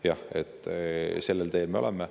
Jah, sellel teel me oleme.